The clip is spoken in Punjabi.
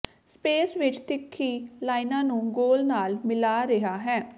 ਸਪੇਸ ਵਿਚ ਤਿੱਖੀ ਲਾਈਨਾਂ ਨੂੰ ਗੋਲ ਨਾਲ ਮਿਲਾ ਰਿਹਾ ਹੈ